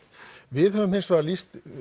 við höfum hins vegar lýst